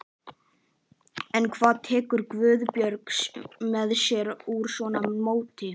En hvað tekur Guðbjörg með sér úr svona móti?